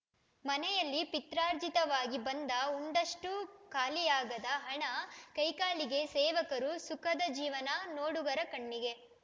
ಮನೆಯಲ್ಲಿ ಪಿತ್ರಾರ್ಜಿತವಾಗಿ ಬಂದ ಉಂಡಷ್ಟೂಖಾಲಿಯಾಗದ ಹಣ ಕೈಕಾಲಿಗೆ ಸೇವಕರು ಸುಖದ ಜೀವನ ನೋಡುಗರ ಕಣ್ಣಿಗೆ